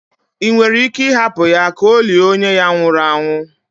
ị nwere ike hapụ ya ka o lie onye ya nwụru anwụ?